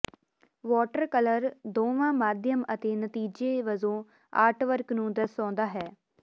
water colour ਦੋਵਾਂ ਮਾਧਿਅਮ ਅਤੇ ਨਤੀਜੇ ਵਜੋਂ ਆਰਟਵਰਕ ਨੂੰ ਦਰਸਾਉਂਦਾ ਹੈ